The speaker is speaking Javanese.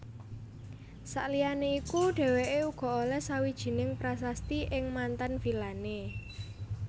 Saliyané iku dhèwèké uga olèh sawijining prasasti ing manten vilané